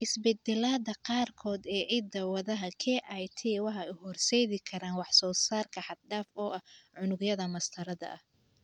Isbeddellada qaarkood ee hidda-wadaha KIT waxay u horseedi karaan wax-soo-saar xad-dhaaf ah oo unugyada mastarada ah.